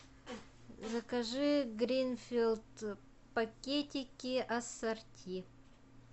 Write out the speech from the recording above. закажи гринфилд пакетики ассорти